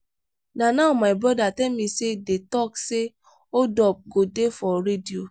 na now my brother tell me say dey talk say hold up go dey for radio